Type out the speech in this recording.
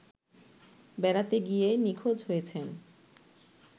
বেড়াতে গিয়ে নিখোঁজ হয়েছেন